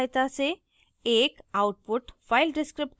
कुछ उदाहरणों की सहायता से